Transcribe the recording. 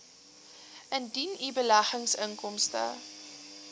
indien u beleggingsinkomste